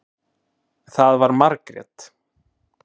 Það var Margrét.